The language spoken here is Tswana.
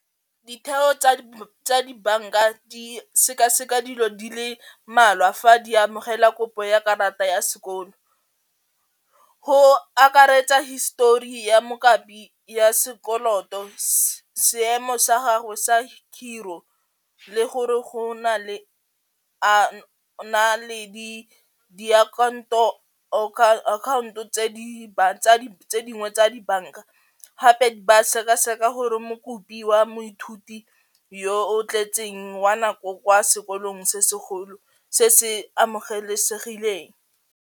Ditheo tsa dibanka di sekaseka dilo di le mmalwa fa di amogela kopo ya karata ya sekolo, go akaretsa histori ya ya sekoloto, seemo sa gago sa ka khiro le gore go na le a na le di diakhanto account-o tse dingwe tsa dibanka gape ba sekaseka gore mo kopiwa moithuti yo o tletseng wa nako kwa sekolong se segolo se se amogelesegileng.